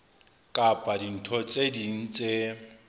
kapa dintho tse ding tse